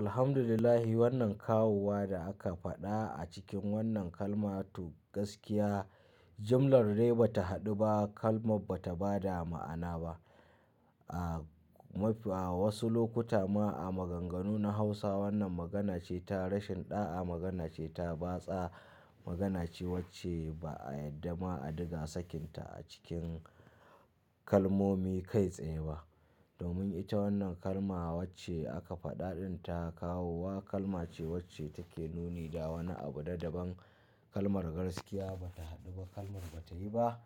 Alhamdulillah wannan kawowa da aka faɗa a cikin wannan kalma to gaskiya, jimlar dai bata haɗu ba. Kalmar bata ba da ma'ana ba. A, maf a wasu lokuta ma a maganganu na Hausa wannan magana ce ta rashin ɗa'a, magana ce ta batsa, magana ce wacce ba a yadda ma a diga sakinta a cikin kalmomi kai tsaye ba. Domin ita wannan kalma wacce aka faɗa ɗinta kawowa kalma ce wacce take nuni da wani abu da daban. Kalmar gaskiya bata haɗu ba. Kalmar bata yi ba.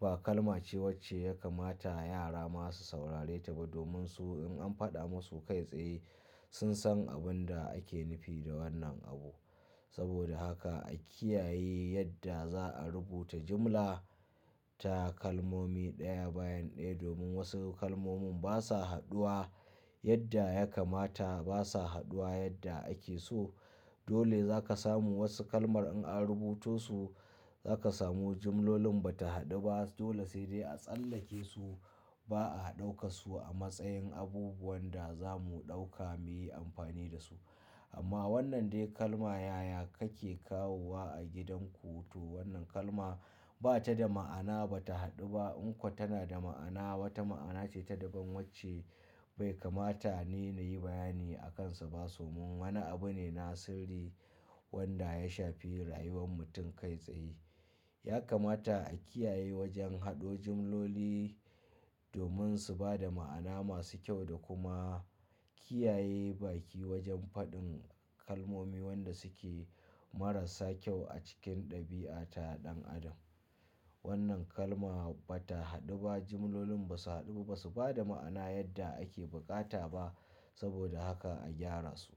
Ba kalma ce wacce ya kamata yara masu saurare ta ba domin su in an faɗa musu kai tsaye sun san abin da ake nufi da wannan abu. Saboda haka a kiyaye yadda za'a rubuta jimla ta kalmomi ɗaya bayan ɗaya domin wasu kalmomin basa haɗuwa yadda ya kamata. Basa haɗuwa yadda ake so. Dole zaka samu wasu kalmar in an rubutosu zaka samu jimlolin bata haɗu ba. Dole sai dai a tsallake su ba a ɗauka su a matsayin abubuwan da zamu ɗauka muyi amfani da su. Amma wannan dai kalma yaya kake kawowa a gidan ku to wannan kalma bata da ma'ana, bata haɗu ba. In kuwa tana da ma'ana, wata ma'ana ce ta daban wacce bai kamata ni na yi bayani a kansa ba. Domin wani abu ne na sirri wanda ya shafi rayuwar mutum kai tsaye. Ya kamata a kiyaye wajen haɗo jimloli domin su ba da ma'ana masu kyau da kuma kiyaye baki wajen faɗin kalmomi wanda suke marasa kyau a cikin ɗabi'a ta ɗan adam. Wannan kalma bata haɗu ba. Jimlolin ba su haɗu, ba su ba da ma'ana yadda ake bukata ba. Saboda haka a gyara su.